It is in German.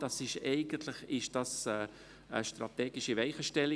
Das ist eigentlich eine strategische Weichenstellung.